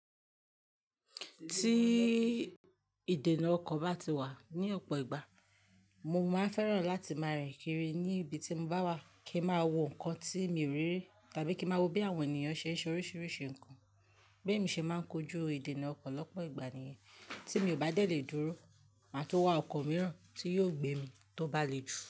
Tí ìdènà ọkọ̀ bá ti wà ní ọ̀pọ̀ ìgbà, mo máa fẹ́ràn láti máa rìn kiri ní ibi tí mo bá wà kí n máa wo nǹkan tí mi o rírí tàbí kí ń máa wo bí àwọn ènìyàn ṣe ń ṣe oríṣiríṣi nǹkan. Bémi ṣe máa ń kojú ìdènà ọkọ̀ lọ́pọ̀ ìgbà nìyẹn, tí mi ò bá de lè dúró, màá tun wà ọkọ̀ mìíràn tí yóò gbé mi tó bá le jù.